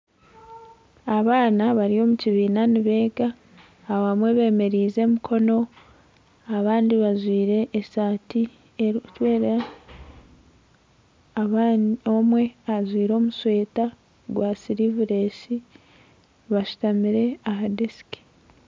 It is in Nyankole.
Abaana bari omu kibiina nibeega abamwe bemereize emikono abandi bajwire esaati erukwera omwe ajwire omushweta gwa silivulesi bashutamire aha desiki